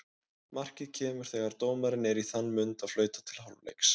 Markið kemur þegar dómarinn er í þann mund að flauta til hálfleiks.